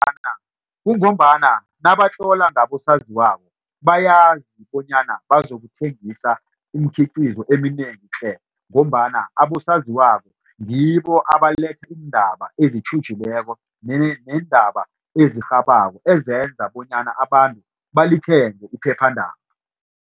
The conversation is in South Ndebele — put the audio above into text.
Kungombana nabatlola ngabosaziwako bayazi bonyana bazokuthengisa imikhiqizo eminengi tle ngombana abosaziwako ngibo abaletha iindaba ezitjhujileko neendaba esirhabako ezenza bonyana abantu balithenge iphephandaba.